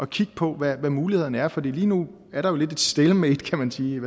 kigge på hvad mulighederne er for lige nu er der jo lidt et stalemate kan man sige